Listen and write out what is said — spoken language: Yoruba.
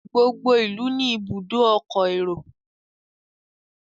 gbogbo ilú ní Ibùdó ọkọ̀ èrò